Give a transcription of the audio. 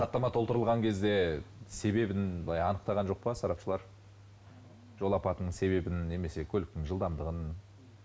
хаттама толтырылған кезде себебін былай анықтаған жоқ па сарапшылар жол апатының себебін немесе көліктің жылдамдығын